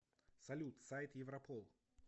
салют сайт европол